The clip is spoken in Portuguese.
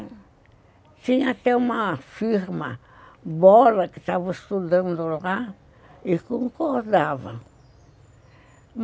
E tinha até uma firma, Bola, que estava estudando lá e concordava.